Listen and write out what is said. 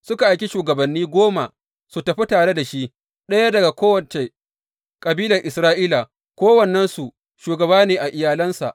Suka aiki shugabanni guda goma su tafi tare da shi, ɗaya daga kowace kabilar Isra’ila, kowannensu shugaba ne a iyalansa.